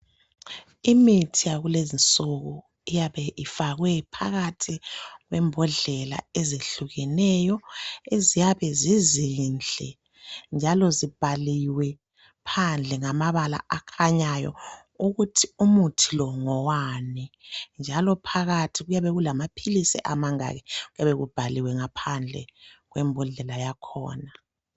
Imithi yakulezinsuku iyabe ifakwe phakathi kwembodlela ezihlukeneyo eziyabe zizinhle njalo zibhaliwe phandle ngamabala akhanyayo ukuthi umuthi lo ngowani njalo phakathi kuyabe kulamaphilizi amangaki kuyabe kubhaliwe phandle kwembodlela yakhona